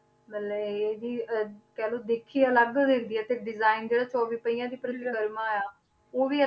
ਮਤਲਬ ਇਹਦੀ ਅਹ ਕਹਿ ਲਓ ਦਿੱਖ ਹੀ ਅਲੱਗ ਹੋ ਜਾਂਦੀ ਹੈ ਤੇ design ਜਿਹੜਾ ਚੌਵੀ ਪਹੀਆਂ ਦੀ ਪ੍ਰਕਰਮਾ ਆਂ, ਉਹ ਵੀ